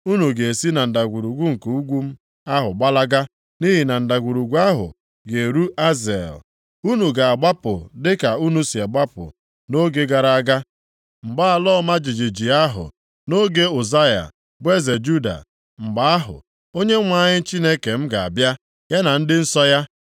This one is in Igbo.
Unu ga-esi na ndagwurugwu nke ugwu m ahụ gbalaga, nʼihi na ndagwurugwu ahụ ga-eru Azel. Unu ga-agbapụ dịka unu si gbapụ nʼoge gara aga, mgbe ala ọma jijiji ahụ, nʼoge Uzaya bụ eze Juda. Mgbe ahụ, Onyenwe anyị Chineke m ga-abịa, ya na ndị nsọ ya.